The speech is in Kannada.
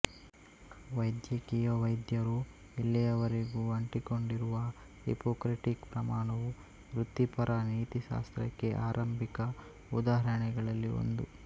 ವೈದ್ಯಕೀಯ ವೈದ್ಯರು ಇಲ್ಲಿಯವರೆಗೂ ಅಂಟಿಕೊಂಡಿರುವ ಹಿಪೊಕ್ರೆಟಿಕ್ ಪ್ರಮಾಣವು ವೃತ್ತಿಪರ ನೀತಿಶಾಸ್ತ್ರಕ್ಕೆ ಆರಂಭಿಕ ಉದಾಹರಣೆಗಳಲ್ಲಿ ಒಂದು